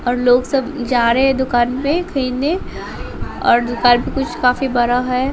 और लोग सब जा रहे हैं दुकान पे खरीदने और दुकान पे कुछ काफी बरा है।